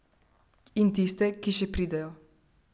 In tiste, ki še pridejo.